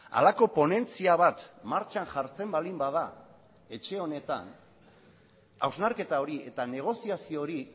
halako ponentzia bat martxan jartzen baldin bada etxe honetan hausnarketa hori eta negoziazio hori